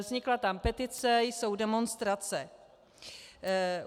Vznikla tam petice, jsou demonstrace.